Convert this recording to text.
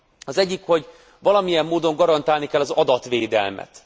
Az egyik, hogy valamilyen módon garantálni kell az adatvédelmet.